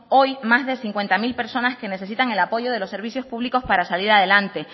hoy más de cincuenta mil personas que necesitan el apoyo de los servicios públicos para salir adelante